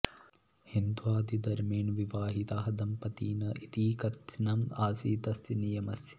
हिन्द्वादिधर्मेण विवाहितः दम्पती न इति कथनम् आसीत् तस्य नियमस्य